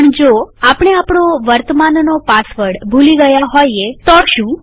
પણ જો આપણે આપણો વર્તમાનનો પાસવર્ડ ભૂલી ગયા હોઈએ તો શું